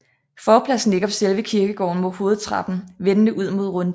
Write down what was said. Forpladsen ligger på selve kirkegården med hovedtrappen vendende ud mod runddelen